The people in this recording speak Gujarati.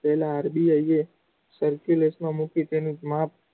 પેહલા RBI serculas માં મૂકી તેનું માપ